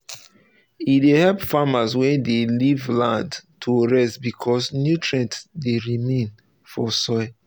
e dey help farmers wey dey leave land to rest becasue nutrient dey remain for soil.